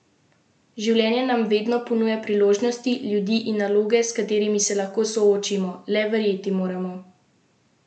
Življenje nam vedno ponuja priložnosti, ljudi in naloge, s katerimi se lahko soočimo, le verjeti moramo vase!